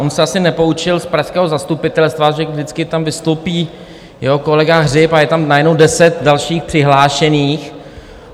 On se asi nepoučil z pražského zastupitelstva, že vždycky tam vystoupí jeho kolega Hřib a je tam najednou deset dalších přihlášených.